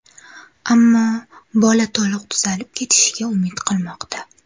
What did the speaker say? Ammo bola to‘liq tuzalib ketishiga umid qilmoqda.